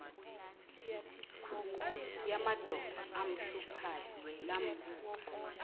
yamadolo amhluphayo lambuka